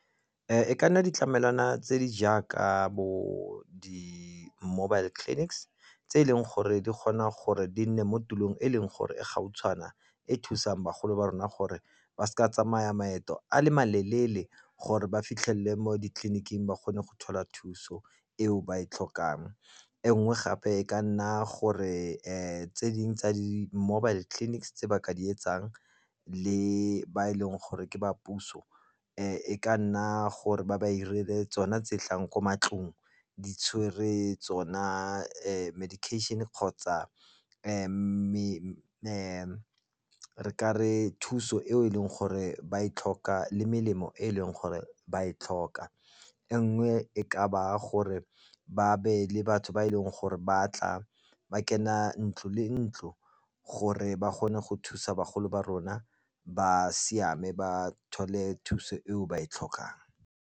E ka nna ditlamelwana tse di jaaka bo di-mobile clinics tse e leng gore di kgona gore di nne mo tulong e leng gore e gautshwana e thusang bagolo ba rona gore ba seka tsamaya maeto a le maleele gore ba fitlhelele mo ditleliniking ba kgone go thola thuso eo ba e tlhokang. E nngwe gape e ka nna gore tse dingwe tsa di-mobile clinics tse ba ka di etsang le ba e leng gore ke ba puso e ka nna gore ba ba 'irile tsona tse tlang ko matlong, di tshwere tsona medication kgotsa re ka re thuso eo e leng gore ba e tlhoka le melemo e leng gore ba e tlhoka. E nngwe e ka ba gore ba be le batho ba e leng gore ba tla ba kena ntlo le ntlo gore ba kgone go thusa bagolo ba rona, ba siame ba thole thuso eo ba e tlhokang.